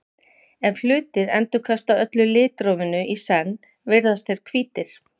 ef hlutir endurkasta öllu litrófinu í senn virðast þeir hvítir